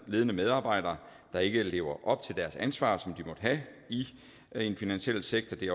ledende medarbejdere der ikke lever op til det ansvar som de måtte have i den finansielle sektor det